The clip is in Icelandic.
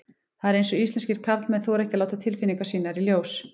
Það er eins og íslenskir karlmenn þori ekki að láta tilfinningar sínar í ljós.